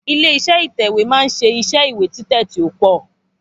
Ilé iṣé ìtèwé ma ń ṣe iṣẹ́ ìwé títè tí o pọ